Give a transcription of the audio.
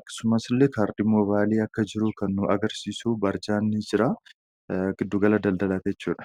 Akkasumas illee kaardiin moobaayilii akka jiru kan agarsiisu barjaan jira. Giddu gala daldalaati jechuudha.